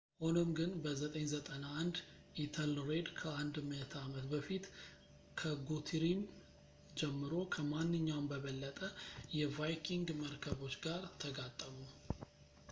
ሆኖም ግን በ 991 ኢተልሬድ ከአንድ ምዕተ ዓመት በፊት ከጉቱሪም ጀምሮ ከማንኛውም በበለጠ የቫይኪንግ መርከቦች ጋር ተጋጠሙ